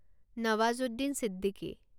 Nawazuddin Siddiqui